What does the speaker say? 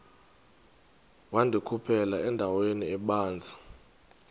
wandikhuphela endaweni ebanzi